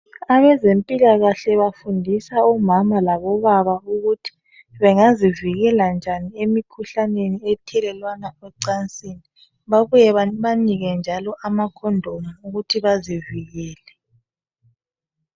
Abezempilakahle bafundisa omama labobaba ukuthi bengazivikela njani emikhuhlaneni ethelelwana ecansini babuye babanike njalo ama condom ukuthi bazivikele